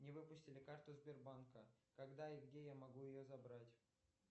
мне выпустили карту сбербанка когда и где я могу ее забрать